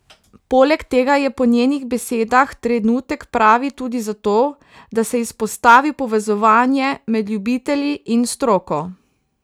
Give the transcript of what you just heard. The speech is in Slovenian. Poleg tega je po njenih besedah trenutek pravi tudi za to, da se izpostavi povezovanje med ljubitelji in stroko.